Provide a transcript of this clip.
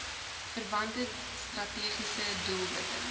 verwante strategiese doelwitte